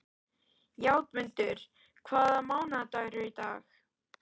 Játmundur, hvaða mánaðardagur er í dag?